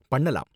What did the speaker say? பண்ணலாம்.